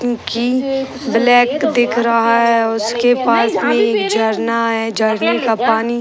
Cookie black दिख रहा है। उसके पास में एक झरना है। झरने का पानी --